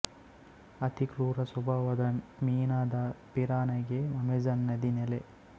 ಅತಿ ಕ್ರೂರ ಸ್ವಭಾವದ ಮೀನಾದ ಪಿರಾನಾಗೆ ಅಮೆಜಾನ್ ನದಿ ನೆಲೆ